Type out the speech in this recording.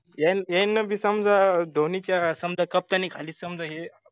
यायन यायनबी समजा धोनीच्या समजा captaini खाली समजा हे